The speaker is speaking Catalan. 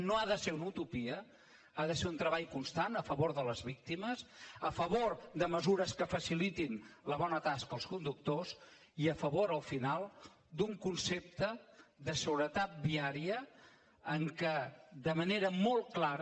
no ha de ser una utopia ha de ser un treball constant a favor de les víctimes a favor de mesures que facilitin la bona tasca als conductors i a favor al final d’un concepte de seguretat viària en què de manera molt clara